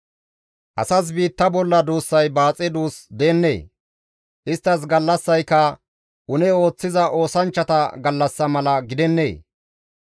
«Asas biitta duussay baaxe duus deennee? Isttas gallassayka une ooththiza oosanchchata gallassa mala gidennee?